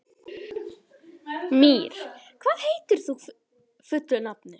Mír, hvað heitir þú fullu nafni?